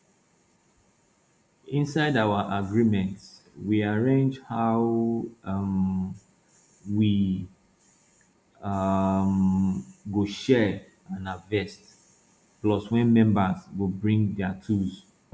inside our agreement we arrange how um we um go share and harvest plus when members go bring their tools